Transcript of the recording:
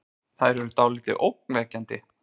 Þær eru dáldið ógnvekjandi.